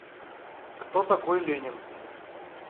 кто такой ленин